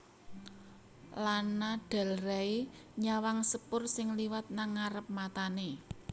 Lana Del Rey nyawang sepur sing liwat nang ngarep matane